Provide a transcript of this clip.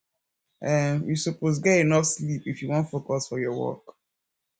um you suppose get enough sleep if you wan focus for your work